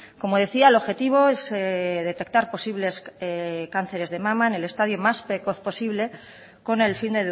como decía el objetivo es detectar posibles cánceres de mama en el estadio más precoz posible con el fin